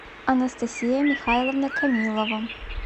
анастасия михайловна камилова